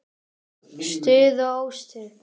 Stuð og óstuð.